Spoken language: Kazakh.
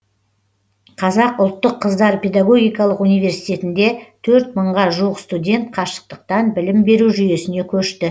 қазақ ұлттық қыздар педагогикалық университетінде төрт мыңға жуық студент қашықтықтан білім беру жүйесіне көшті